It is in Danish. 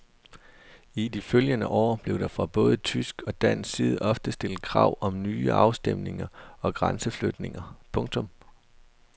I de følgende år blev der fra både tysk og dansk side ofte stillet krav om nye afstemninger og grænseflytninger. punktum